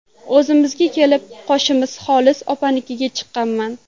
O‘zimga kelib, qo‘shnimiz Xolis opanikiga chiqqanman.